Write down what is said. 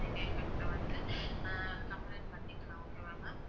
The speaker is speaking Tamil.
நீங்க எங்ககிட்ட வந்து ஆஹ் complaint பண்ணிக்கலாம் okay வா ma'am